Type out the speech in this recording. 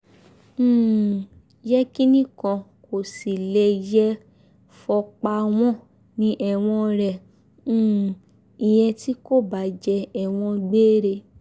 um yékénni kan kò sì lè yé e fọ́pá wọn ní ẹ̀wọ̀n rẹ um ìyẹn tí kò bá jẹ́ ẹ̀wọ̀n gbére